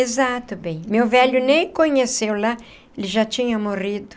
Exato bem, meu velho nem conheceu lá, ele já tinha morrido.